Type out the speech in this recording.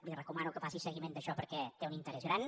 li recomano que faci seguiment d’això perquè té un interès gran